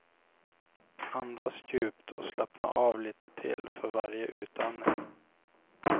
Andas djupt och slappna av lite till för varje utandning.